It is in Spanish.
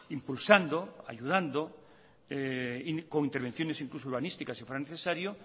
impulsando y ayudando con intervenciones incluso urbanísticas si fuera necesario